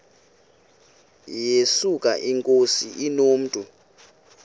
yesuka inkosi inomntu